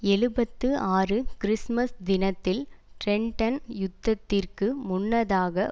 எழுபத்து ஆறு கிறிஸ்துமஸ் தினத்தில் டிரென்டன் யுத்தத்திற்கு முன்னதாக